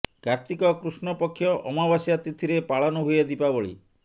କାର୍ତ୍ତିକ କୃଷ୍ଣ ପକ୍ଷ ଅମାବାସ୍ୟା ତିଥିରେ ପାଳନ ହୁଏ ଦିପାବଳୀ